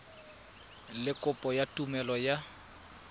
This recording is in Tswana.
le kopo ya tumelelo ya